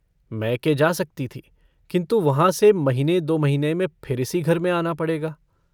मैके जा सकती थी किन्तु वहाँ से महीने दो महीने में फिर इसी घर में आना पड़ेगा।